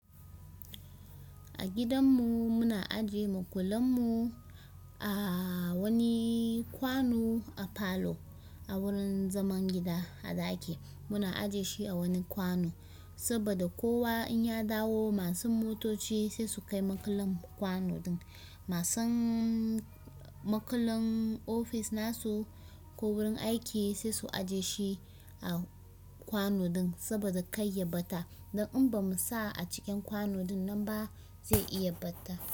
A gidan mu muna ajiye makullan mu a wani kwano a falo a wurin zaman gida a ɗaki muna aje shi a wani kwano saboda kowa in ya dawo masu motoci sai su kai makullan kwanon din masu makullan ofis nasu ko wurin aiki sai su aje shi a kwano ɗin saboda kar ya ɓata, dan in bamu sa a cikin kwano ɗin nan ba zai iya ɓata.